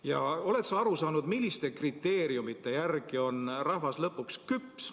Ja kas sa oled aru saanud, milliste kriteeriumide järgi otsustades on rahvas lõpuks küps?